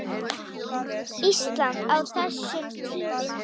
Íslandi á þessum tíma.